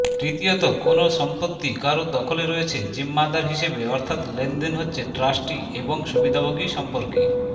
তৃতীয়ত কোনও সম্পত্তি কারও দখলে রয়েছে জিম্মাদার হিসেবে অর্থাৎ লেনদেন হচ্ছে ট্রাস্টি এবং সুবিধাভোগী সম্পর্কে